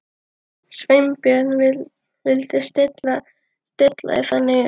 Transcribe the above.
Sveinbjörn vildi stilla því þannig upp.